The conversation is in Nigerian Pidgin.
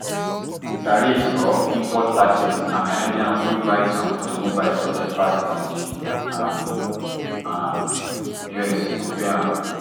di tariffs or import taxes na canadians wey buy some automobiles or dia parts from di um um us go pay am